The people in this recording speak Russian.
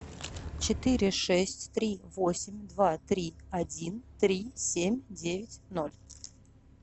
четыре шесть три восемь два три один три семь девять ноль